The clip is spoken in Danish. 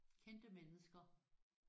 Kendte mennesker